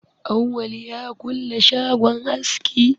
Awwal ya kulle shagon aski.